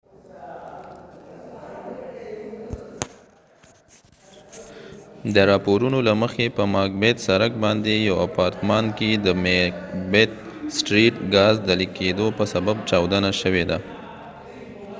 د راپورونو له مخی په ماک بیت سرک macbeth street باندي یو اپارتمان کې د ګاز د لیک کېدو په سبب چاودنه شوي ده